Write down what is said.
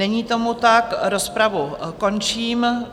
Není tomu tak, rozpravu končím.